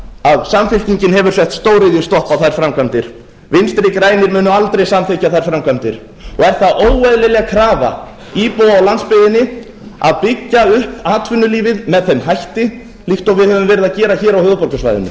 að samfylkingin hefur sett stóriðjustopp á þær framkvæmdir vinstri grænir munu aldrei samþykkja þær framkvæmdir og er það óeðlileg krafa íbúa á landsbyggðinni að byggja upp atvinnulífið með þeim hætti líkt og við höfum verið að gera hér á höfuðborgarsvæðinu hvernig væri